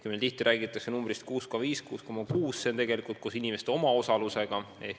Kui meil tihti räägitakse näitajast 6,5–6,6%, siis see on tegelikult koos inimeste omaosalusega.